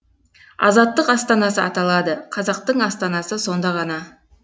азаттық астанасы аталады қазақтың астанасы сонда ғана